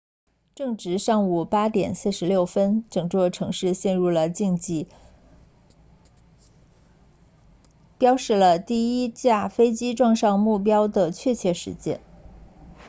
正值上午8点46分整座城市陷入了寂静标示了第一架飞机撞上目标的确切时间